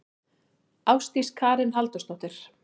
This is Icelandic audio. Ásdís Karen Halldórsdóttir.